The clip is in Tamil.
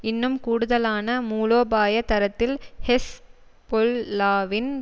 இன்னும் கூடுதலான மூலோபாய தரத்தில் ஹெஸ் பொல் லாவின்